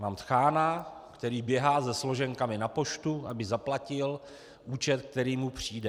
Mám tchána, který běhá se složenkami na poštu, aby zaplatil účet, který mu přijde.